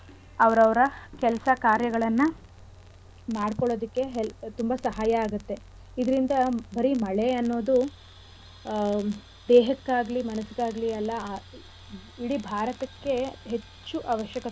ಕೆಲ್ಸ ಕಾರ್ಯಗಳನ್ನ ಮಾಡ್ಕೊಳೋದಿಕ್ಕೆ ಹೆ ತುಂಬಾ ಸಹಾಯ ಆಗತ್ತೆ ಇದ್ರಿಂದ ಬರೀ ಮಳೆ ಅನ್ನೋದು ಆ ದೇಹಕ್ಕಾಗ್ಲಿ ಮನ್ಸಿಗಾಗ್ಲಿ ಅಲ್ಲ ಇಡೀ ಭಾರತಕ್ಕೆ ಹೆಚ್ಚು ಅವಶ್ಯಕತೆ ಇರೋ.